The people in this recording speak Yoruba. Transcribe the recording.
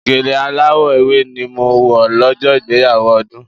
Gèlè aláwọ̀ ewé ni mo wọ̀ lọ́jọ́ ìgbéyàwó Ọdún.